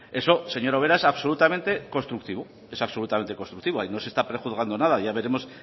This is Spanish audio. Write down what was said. eso señora ubera es absolutamente constructivo es absolutamente constructivo ahí no se está prejuzgando nada ya veremos